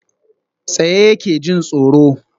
Tsaye yake, jin tsoro